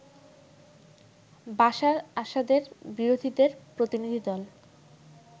বাশার আসাদের বিরোধীদের প্রতিনিধিদল